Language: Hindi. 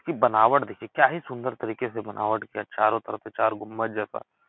इसकी बनावट देखिए क्या ही सुन्दर तरीके से बनावट किया चारों तरफ से चार गुंबद जैसा।